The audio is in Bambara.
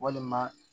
Walima